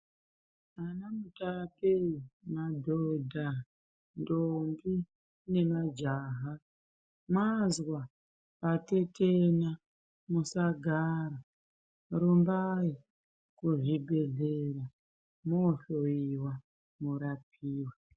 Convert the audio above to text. Ana Mutape , madhodha, ntombi ngemajaha mwazwa patetenya musagara rumbai kuzvibhedhlera mwohloiwa mworapiwa.